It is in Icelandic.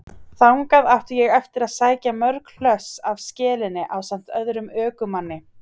Þangað átti ég eftir að sækja mörg hlöss af skelinni ásamt öðrum ökumanni.